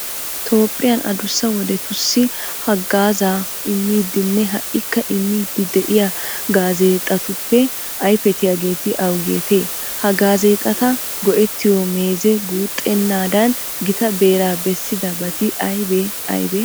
Toophphiyan adussa wodetussi haggaazaa immidinne ha"ikka immiiddi de'iya gaazeexatuppe ayfettiyageeti awugeetee? Ha gaazeexata go"ettiyo meezee guuxxanaadan gita beeraa bessidabati aybee aybee?